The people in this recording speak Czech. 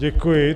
Děkuji.